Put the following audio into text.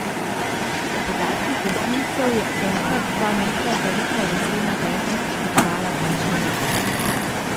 Po podatkih gasilcev je enkrat dva metra velika lesena deska poškodovala dva človeka.